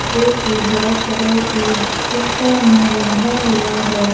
जो कि black colour की है उसका मुंह बंधा हुआ है।